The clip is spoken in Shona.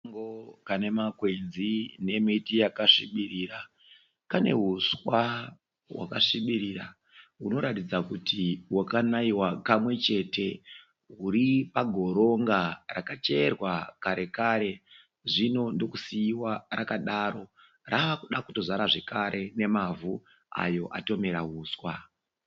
Kasango kane makwenzi nemiti yakasvibirira, kane huswa hwakasvibirira hunoratidza kuti hwakanaiwa kamwe chete huri pagoronga rakacherwa kare kare zvino ndokusiiwa rakadaro rakuda kutozara zvekare nemavhu ayo atomera huswa.